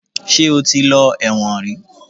Ṣe ó ti lọ ẹ̀wọ̀n rí?